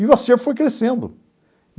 E o acervo foi crescendo.